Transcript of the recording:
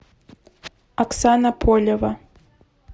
оксана полева